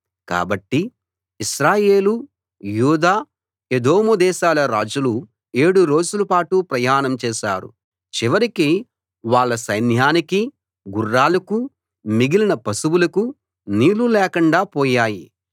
కాబట్టి ఇశ్రాయేలు యూదా ఎదోము దేశాల రాజులు ఏడు రోజుల పాటు ప్రయాణం చేశారు చివరికి వాళ్ళ సైన్యానికీ గుర్రాలకూ మిగిలిన పశువులకూ నీళ్ళు లేకుండా పోయాయి